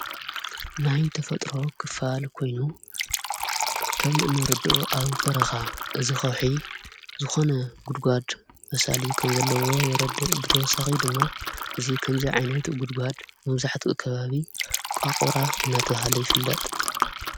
ናይ ተፈጥሮ ክፋል ኮይኑ ከም እንርድኦ ኣብ በረኻ እዝ ኸውሒ ዝኾነ ጕድጓድ መሣል ከም ዘለዎ የረድ ብተወሰኺ ድማ እዙይ ኸምዘይ ዓይነት ጕድጓድ መምዛሕቲ ከባቢ ቋቝራ እናተውሃለ ይፍለጥ።